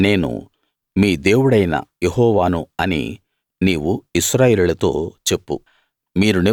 నేను మీ దేవుడైన యెహోవాను అని నీవు ఇశ్రాయేలీయులతో చెప్పు